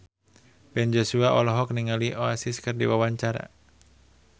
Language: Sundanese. Ben Joshua olohok ningali Oasis keur diwawancara